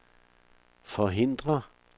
forhindre